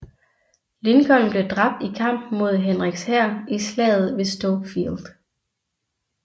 Lincoln blev dræbt i kampen mod Henriks hær i Slaget ved Stoke Field